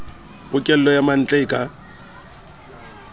pokello ya mantle e ka